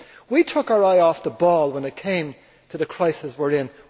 We took our eye off the ball when it came to the crisis we are in.